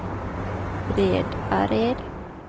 Bredared